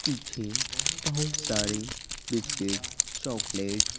पीछे बहुत सारे बिस्किट्स चॉकलेट्स --